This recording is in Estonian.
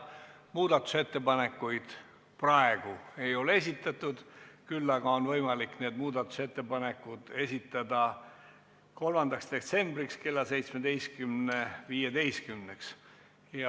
Muudatusettepanekuid seni ei ole esitatud, küll aga on võimalik neid esitada 3. detsembriks kell 17.15-ks.